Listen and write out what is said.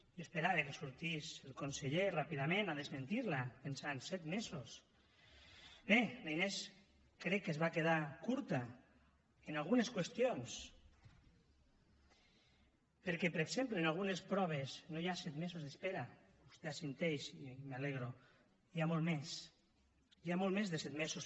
jo esperava que sortís el conseller ràpidament a desmentir la pensant set mesos bé la inés crec que es va quedar curta en algunes qüestions perquè per exemple en algunes proves no hi ha set mesos d’espera vostè assenteix i me n’alegro n’hi ha molts més hi ha molt més de set mesos